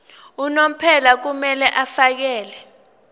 unomphela kumele afakele